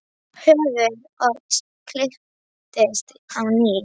Höfuð Odds kipptist til á ný.